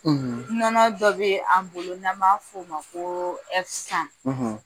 Nɔnɔ dɔ bɛ an bolo n'an b'a fɔ o ma ko